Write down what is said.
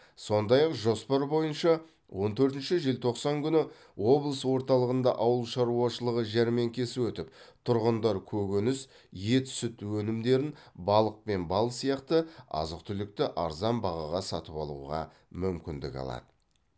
сондай ақ жоспар бойынша он төртінші желтоқсан күні облыс орталығында ауыл шаруашылығы жәрмеңкесі өтіп тұрғындар көкөніс ет сүт өнімдерін балық пен бал сияқты азық түлікті арзан бағаға сатып алуға мүмкіндік алады